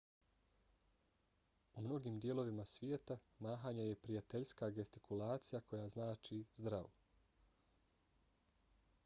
u mnogim dijelovima svijeta mahanje je prijateljska gestikulacija koja znači zdravo